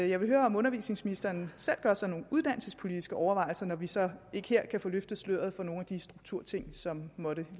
jeg vil høre om undervisningsministeren selv gør sig nogle uddannelsespolitiske overvejelser når vi så ikke her kan få løfte sløret for nogle af de strukturting som måtte